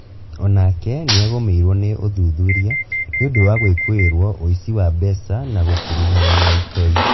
Onake nĩagũmĩirwo nĩ ũthuthuria nĩũndũ wa gwĩkũĩrwo ũici wa mbeca na gũkuruhana na itoi